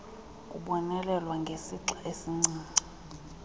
kubonelelwa ngesixa esincinci